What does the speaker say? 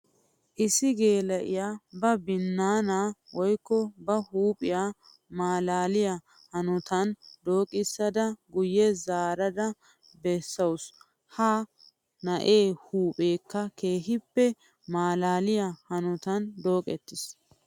Issi geela'iya ba binaana woykka ba huuphiya malaaliya hanotan doossadda guye zaaradda bessawussu. Ha na'ee huuphekka keehippe malaaliya hanotan dooqqettis.